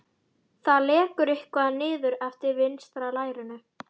Það lekur eitthvað niður eftir vinstra lærinu.